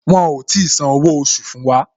Wọn ò tí san owó oṣù fún wa